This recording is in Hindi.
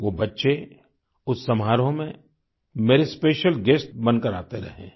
वो बच्चे उस समारोह में मेरे स्पेशियल गुएस्ट बनकर आते रहे हैं